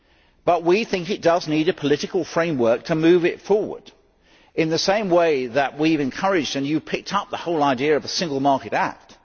However, we think it does need a political framework to move it forward in the same way that we have encouraged, and you have picked up, the whole idea of a Single Market Act.